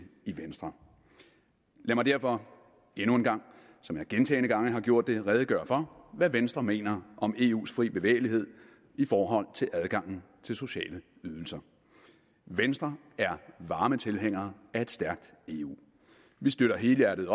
i venstre lad mig derfor endnu en gang som jeg gentagne gange har gjort det redegøre for hvad venstre mener om eus frie bevægelighed i forhold til adgangen til sociale ydelser venstre er varme tilhængere af et stærkt eu vi støtter helhjertet